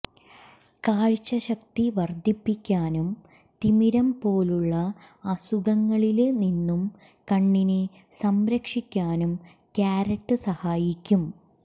കാഴ്ച്ച ശക്തി വര്ധിപ്പിക്കാനും തിമിരം പോലുള്ള അസുഖങ്ങളില് നിന്നും കണ്ണിനെ സംരക്ഷിക്കാനും ക്യാരറ്റ് സഹായിക്കും